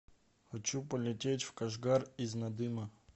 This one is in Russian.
хочу полететь в кашгар из надыма